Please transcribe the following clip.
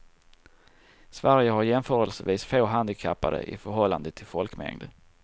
Sverige har jämförelsevis få handikappade i förhållande till folkmängd.